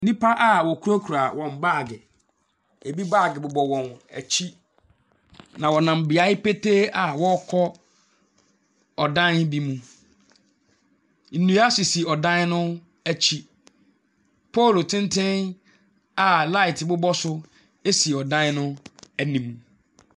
Nnipa a wɔkurakura wɔn baagi, ebi baagi bobɔ wɔn akyi, na wɔnam beaɛ petee a wɔrrkɔ ɛdan bi mu. Nnua sisi ɛdan no akyi. Poolu tenten a nkanea bobɔ so ɛsi ɛdan no anim.